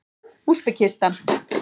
Úsbekistan